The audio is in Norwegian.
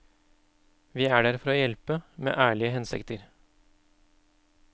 Vi er der for å hjelpe, med ærlige hensikter.